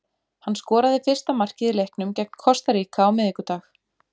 Hann skoraði fyrsta markið í leiknum gegn Kosta Ríka á miðvikudag.